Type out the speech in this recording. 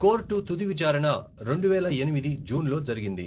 Court తుది విచారణ రెండువేల ఎనిమిది జూన్లో జరిగింది.